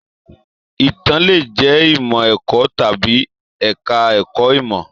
Itàn le jẹ ìmọ ẹ̀kọ́ tàbí ẹka ẹ̀kọ́ ìmọ.